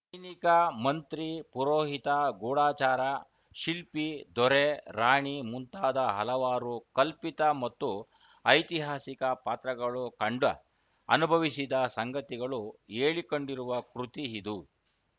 ಸೈನಿಕ ಮಂತ್ರಿ ಪುರೋಹಿತ ಗೂಢಚಾರ ಶಿಲ್ಪಿ ದೊರೆ ರಾಣಿ ಮುಂತಾದ ಹಲವಾರು ಕಲ್ಪಿತ ಮತ್ತು ಐತಿಹಾಸಿಕ ಪಾತ್ರಗಳು ಕಂಡ ಅನುಭವಿಸಿದ ಸಂಗತಿಗಳು ಹೇಳಿಕೊಂಡಿರುವ ಕೃತಿ ಇದು